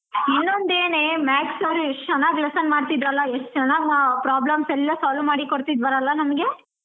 ಇನ್ನೊಂದು ಏನೇ maths sir ಎಷ್ಟ್ ಚೆನ್ನಾಗ್ lesson ಮಾಡ್ತಿದ್ರಲ್ಲಾ ಎಷ್ಟ್ ಚೆನ್ನಾಗಿ problems ಎಲ್ಲಾ solve ಮಾಡಿ ಕೊಡ್ತಿದ್ರಲ್ಲಾ ನಮ್ಗೆ.